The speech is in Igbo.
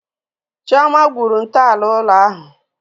Chioma gwuru ntọala ụlọ ahụ.